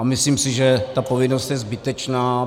A myslím si, že ta povinnost je zbytečná.